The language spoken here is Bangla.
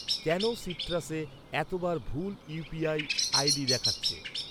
কেন সিট্রাসে এত বার ভুল ইউ.পি.আই আই.ডি দেখাচ্ছে?